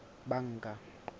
banka